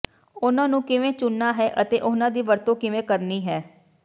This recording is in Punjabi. ਉਨ੍ਹਾਂ ਨੂੰ ਕਿਵੇਂ ਚੁਣਨਾ ਹੈ ਅਤੇ ਉਹਨਾਂ ਦੀ ਵਰਤੋਂ ਕਿਵੇਂ ਕਰਨੀ ਹੈ